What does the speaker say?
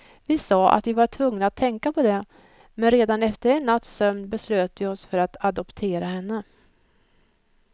Vi sa att vi var tvungna att tänka på det, men redan efter en natts sömn beslöt vi oss för att adoptera henne.